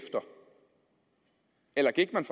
at